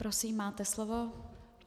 Prosím, máte slovo.